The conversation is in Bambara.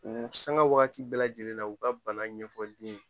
U sanga waati bɛɛ lajɛlen na u ka bana ɲɛfɔ den ye